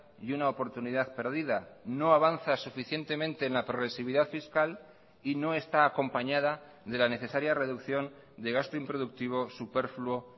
y una oportunidad perdida no avanza suficientemente en la progresividad fiscal y no está acompañada de la necesaria reducción de gasto improductivo superfluo